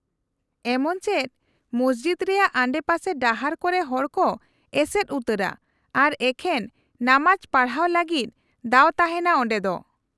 -ᱮᱢᱚᱱ ᱪᱮᱫ ᱢᱚᱥᱡᱤᱫ ᱨᱮᱭᱟᱜ ᱟᱰᱮᱯᱟᱥᱮ ᱰᱟᱦᱟᱨ ᱠᱚᱨᱮ ᱦᱚᱲᱠᱚ ᱮᱥᱮᱫ ᱩᱛᱟᱹᱨᱟ ᱟᱨ ᱮᱠᱷᱮᱱ ᱱᱟᱢᱟᱡ ᱯᱟᱲᱦᱟᱣ ᱞᱟᱹᱜᱤᱫ ᱫᱟᱣ ᱛᱟᱦᱮᱱᱟ ᱚᱸᱰᱮ ᱫᱚ ᱾